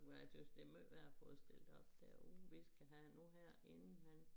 Men jeg synes det måj værre at få stilt op derude vi skal ahve nu her inden han